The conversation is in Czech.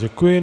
Děkuji.